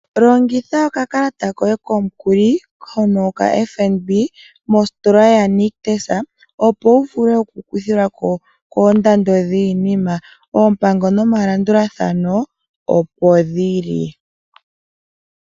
Longitha okakalata koye komukuli hono ka FNB mositola ya nictus opo wuvule okukuthilwako kondando dhinima opango nomalandulathano opo dhili.